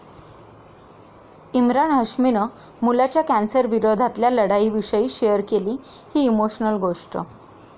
इम्रान हाश्मीनं मुलाच्या कॅन्सरविरोधातल्या लढाईविषयी शेअर केली ही इमोशनल गोष्ट